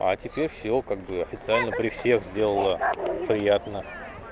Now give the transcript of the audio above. а теперь всё как бы официально при всех сделала приятно